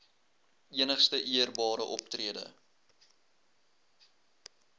enigste eerbare optrede